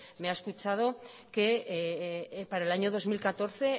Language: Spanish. me ha escuchado que para el año dos mil catorce